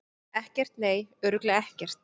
Ekkert, nei, örugglega ekkert.